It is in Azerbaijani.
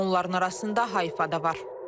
Onların arasında Hayfa da var.